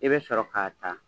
I be sɔrɔ ka ta